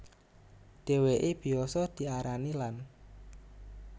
Dheweke biyasa diarani Land